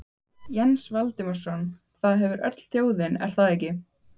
Jens Valdimarsson: Það hefur öll þjóðin, er það ekki?